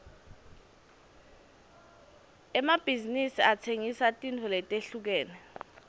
emabhizinsi atsengisa tintfo letehlukene